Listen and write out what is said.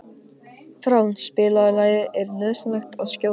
Frán, spilaðu lagið „Er nauðsynlegt að skjóta“.